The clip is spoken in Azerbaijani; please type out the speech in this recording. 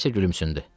Valsya gülümsündü.